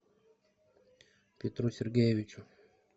петру сергеевичу